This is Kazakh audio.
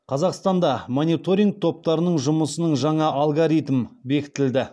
қазақстанда мониторинг топтарының жұмысының жаңа алгоритм бекітілді